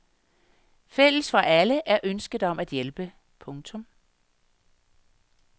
Fælles for alle er ønsket om at hjælpe. punktum